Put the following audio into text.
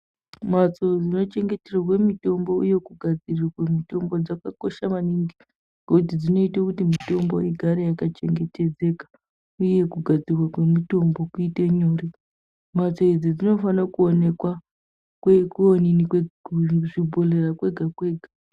Mbatso dzonochengeterwa mutombo uye kugadzirirwa mutombo dzakakosha maningi ngokuti dzinoita kuti mutombo igare yakachengetedzeka uye kugadzirwa kwemutombo kuite nyore mbatso idzi dzofanirwa kuonekwa kuonini kuzvibhehleya kwega kwega